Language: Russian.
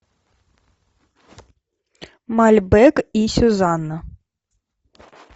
мальбек и сюзанна